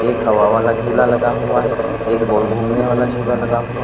एक हवा वाला झुला लगा हुआ है एक गोल घूमने वाला झूला लगा हुआ--